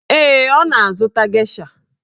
Ee, ọ na-azụta gesha.